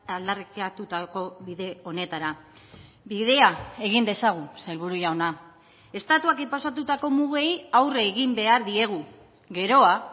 aldarrikatutako bide honetara bidea egin dezagun sailburu jauna estatuak inposatutako mugei aurre egin behar diegu geroa